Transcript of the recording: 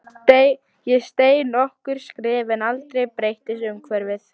Ég steig nokkur skref en aldrei breyttist umhverfið.